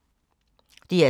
DR2